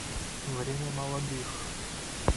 время молодых